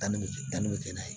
Danni bɛ kɛ danni bɛ kɛ n'a ye